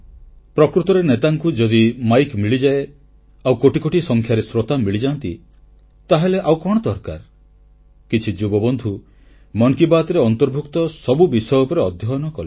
ପ୍ରକୃତରେ ନେତାଙ୍କୁ ଯଦି ମାଇକ ମିଳିଯାଏ ଆଉ କୋଟି କୋଟି ସଂଖ୍ୟାରେ ଶ୍ରୋତା ମିଳିଯାଆନ୍ତି ତାହେଲେ ଆଉ କଣ ଦରକାର କିଛି ଯୁବବନ୍ଧୁ ମନ କି ବାତ୍ରେ ଅନ୍ତର୍ଭୁକ୍ତ ସବୁ ବିଷୟ ଉପରେ ଅଧ୍ୟୟନ କଲେ